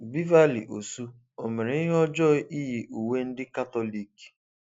Beverly Osu, o mere ihe ọjọọ iyi uwe ndị Katọlik?